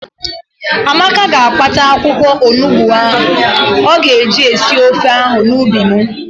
Amaka ga-akpata akwụkwọonugbo ọ ga-eji sie ofe ahụ n'ubi m.